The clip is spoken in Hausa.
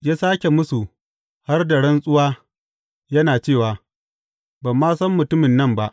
Ya sāke mūsu har da rantsuwa, yana cewa, Ban ma san mutumin nan ba!